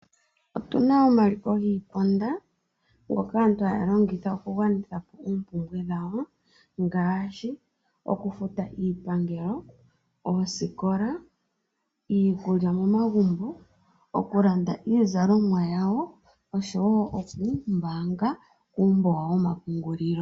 Otuna omaliko giiponda ngoka aantu haya longitha okugwanithapo ompumbwe dhawo ngaashi okufuta iipangelo , ooskola, iikulya momagumbo, oku landa iizalomwa yawo oshowo okuumbanga uumbo wawo wo mapungulilo.